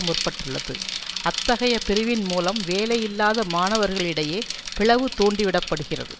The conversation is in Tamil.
முற்பட்டுள்ளது அத்தகைய பிரிவின் மூலம் வேலையில்லாத மாணவர்களிடையே பிளவு தூண்டிவிடப்படுகிறது